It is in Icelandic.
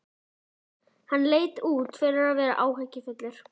Hann leit út fyrir að vera áhyggjufullur.